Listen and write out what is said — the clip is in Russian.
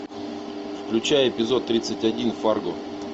включай эпизод тридцать один фарго